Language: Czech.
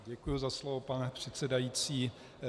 Děkuji za slovo, pane předsedající.